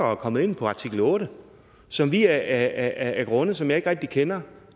og er kommet ind på artikel otte som vi af grunde som jeg ikke rigtig kender